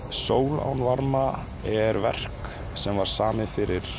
sól án varma er verk sem var samið fyrir